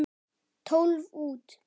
Tólf út.